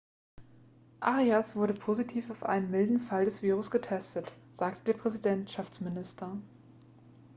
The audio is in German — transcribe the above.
arias wurde positiv auf einen milden fall des virus getestet sagte der präsidentschaftsminister